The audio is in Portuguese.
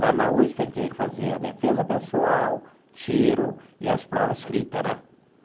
Lá na USP, a gente tinha que fazer a defesa pessoal, tiro e as provas escrita, né?